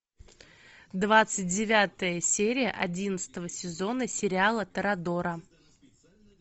двадцать девятая серия одиннадцатого сезона сериала торадора